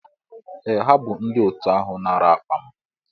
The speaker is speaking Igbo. Ee ha bu ndi otu ahu nara akpa m.